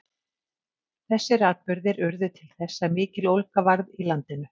Þessir atburðir urðu til þess að mikill ólga varð í landinu.